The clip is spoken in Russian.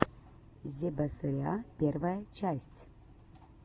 зебасориа первая часть